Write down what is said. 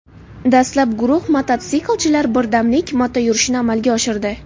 Dastlab guruh mototsiklchilar birdamlik motoyurishini amalga oshirdi.